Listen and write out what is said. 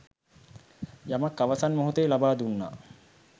යමක් අවසන් මෙහොතේ ලබා දුන්නා